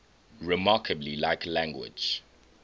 remarkably like language